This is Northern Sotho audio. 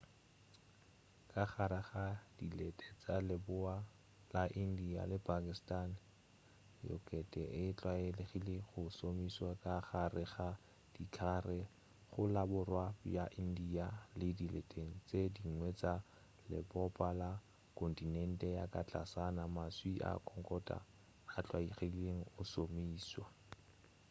ka gare ga dilete tša leboa la india le pakistan yokate e tlwaelegile go šomišwa ka gare ga dikhari go la borwa bja india le dileteng tše dingwe tša lebopo la kontinente ya ka tlasana maswi a khokhonate a tlwaelegile go šomišwa